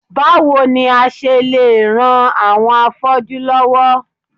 Báwo ni a ṣe lè ran àwọn afọ́jú lọ́wọ́?